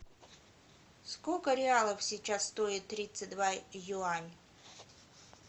сколько реалов сейчас стоит тридцать два юань